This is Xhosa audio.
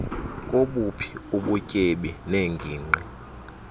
kobuphi ubutyebi neengingqi